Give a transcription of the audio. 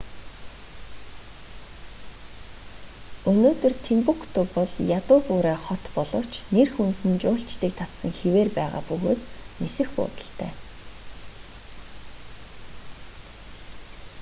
өнөөдөр тимбукту бол ядуу буурай хот боловч нэр хүнд нь жуулчдыг татсан хэвээр байгаа бөгөөд нисэх буудалтай